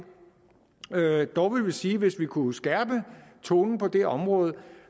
dog vil vi sige at vi hvis vi kunne skærpe tonen på det område